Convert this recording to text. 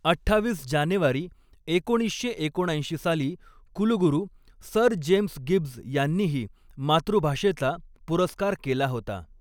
अठ्ठावीस जानेवारी एकोणीसशे एकोणऐंशी साली कुलगुरू सर जेम्स गिब्ज यांनीही मातृभाषेचा पुरस्कार केला होता.